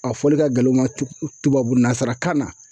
A fɔli ka gɛlɛ u ma tu tubabu nanzarakan na